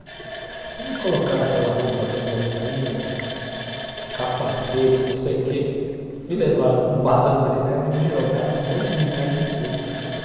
Aí me colocaram aquela roupa de neoprene, capacete, não sei o que, me levaram num barranco de neve e me jogaram um monte de neve em cima.